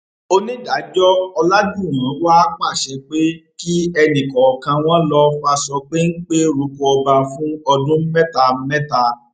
onídàájọ ọlàjúwọn wàá pàṣẹ pé kí ẹnì kọọkan wọn lọọ faṣọ péńpẹ roko ọba fún ọdún mẹta mẹta